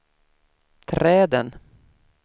träden